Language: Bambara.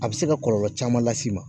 A bi se ka kɔlɔlɔ caman las'i ma.